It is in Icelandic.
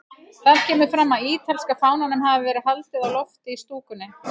Þar kemur fram að ítalska fánanum hafi verið haldið á lofti í stúkunni.